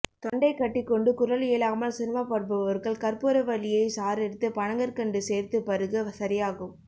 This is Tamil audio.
தொண்டை கட்டிக்கொண்டு குரல் எழாமல் சிரமப்படுபவர்கள் கற்பூர வல்லியை சாறெடுத்து பனங்கற்கண்டு சேர்த்துப் பருக சரியாகும்